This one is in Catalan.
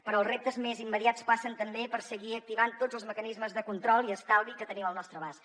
però els reptes més immediats passen també per seguir activant tots els mecanismes de control i estalvi que tenim al nostre abast